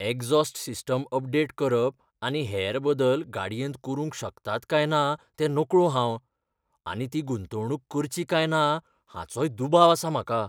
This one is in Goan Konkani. एक्झॉस्ट सिस्टिम अपडेट करप आनी हेर बदल गाडयेंत करूंक शकतात काय ना तें नकळों हांव आनी ती गुंतवणूक करची काय ना हाचोय दुबाव आसा म्हाका.